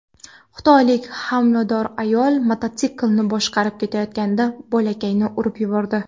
Xitoylik homilador ayol mototsiklni boshqarib ketayotganida bolakayni urib yubordi.